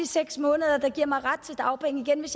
seks måneder der giver en ret til dagpenge igen hvis